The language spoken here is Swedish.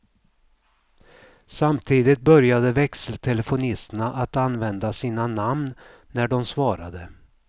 Samtidigt började växeltelefonisterna att använda sina namn när de svarade.